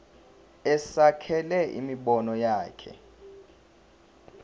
asekele imibono yakhe